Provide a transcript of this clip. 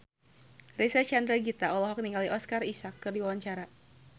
Reysa Chandragitta olohok ningali Oscar Isaac keur diwawancara